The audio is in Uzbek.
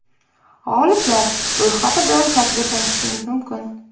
G‘oliblar ro‘yxati bilan saytida tanishishingiz mumkin.